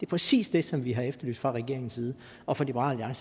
præcis det som vi har efterlyst fra regeringens side og fra liberal